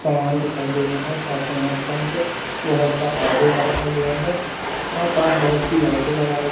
सामान दिखाई दे रहा है साथ में यहां पास बहुत सा आर_ओ रखा गया है यहां पास बहुत सी लाइटें लगाई--